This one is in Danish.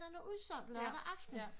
Udsolgt lørdag aften